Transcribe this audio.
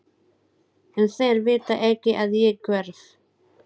En þeir vita ekki að ég hverf.